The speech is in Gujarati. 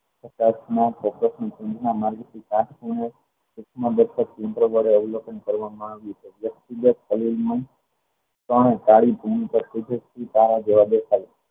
અવલોકન કરવામાં આવ્યું ખૂબ જ તલીન મન પણ કાલે ફોર્મ પર ઉતારા જવા દેખાય